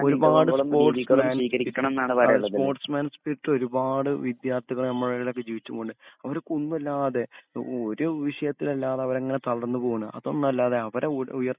ഒരുപാട് sports sports man സ്പിരിറ്റൊരുപാട് വിദ്യാർത്ഥികളെ ഞമ്മൾലൊക്കെ ജീവിച്ചു പോകുന്നെ. അവര്ക്കൊന്നുല്ലാതെ ഒ ഒര് വിഷയത്തിലല്ലാതെ അവരങ്ങനേ തളർന്ന്പോണ് അതൊന്നല്ലാതെ അവരെ ഉയ ഉയർ